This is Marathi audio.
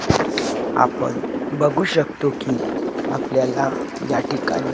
आपण बघू शकतो की आपल्याला या ठिकाणी--